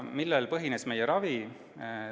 Millel põhines meie ravi?